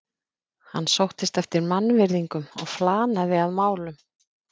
Hann sóttist eftir mannvirðingum og flanaði að málum.